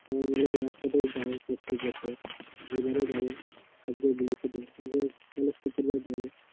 সবাই মিলেেএকসাথেই যাই প্রত্যেক বছর এবারও যাব সবগুলো একেসাথে শুক্রবার যাব